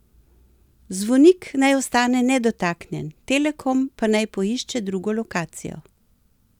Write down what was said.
Zvonik naj ostane nedotaknjen, Telekom pa naj poišče drugo lokacijo.